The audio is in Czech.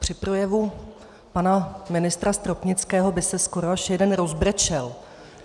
Při projevu pana ministra Stropnického by se skoro až jeden rozbrečel.